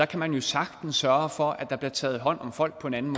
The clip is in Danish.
kan jo sagtens sørge for at der bliver taget hånd om folk på en anden